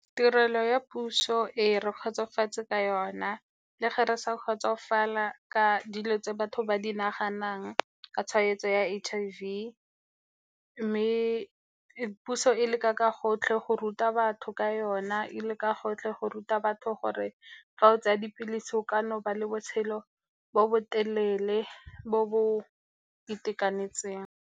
Tirelo ya puso ee re kgotsofetse ka yona, le ge re sa kgotsofala ka dilo tse batho ba di naganang ka tshwaetso ya H_I_V, mme puso e leka ka gotlhe go ruta batho ka yona, e leka gotlhe go ruta batho gore fa o tsaya dipilisi, o ka nna wa nna le botshelo bo bo telele, bo bo itekanetseng.